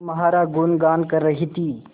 तुम्हारा गुनगान कर रही थी